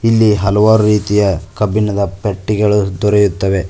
ಇಲ್ಲಿ ಹಲವಾರು ರೀತಿಯ ಕಬ್ಬಿಣದ ಪೆಟ್ಟಿಗಳು ದೊರೆಯುತ್ತವೆ.